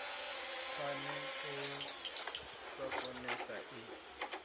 phane e ya vhakonesi i